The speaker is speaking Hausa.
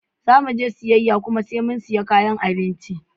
Zamuje siyayya kuma sai mu siya kayan abinci.